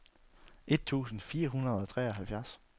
et tusind fire hundrede og treoghalvfjerds